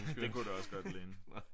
Det kunne det også godt ligne